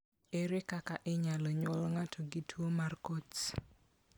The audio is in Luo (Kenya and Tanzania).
Ere kaka inyalo nyuol ng'ato gi tuo mar Coats?